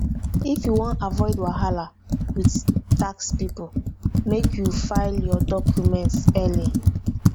if you wan avoid wahala wit tax pipo make you file your documents early